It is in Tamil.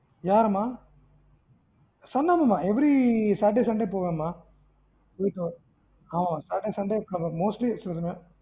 யாரம்மா son ஆமா ஆமா every saturday sunday போவன் மா. ஆமா ஆமா saturday sunday mostly போவன்.